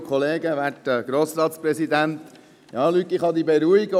Luc Mentha, ich kann Sie beruhigen: